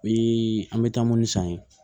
O ye an bɛ taa minnu san yen